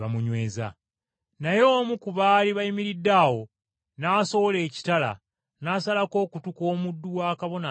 Naye omu ku baali bayimiridde awo n’asowolayo ekitala n’asalako okutu kw’omuddu wa Kabona Asinga Obukulu.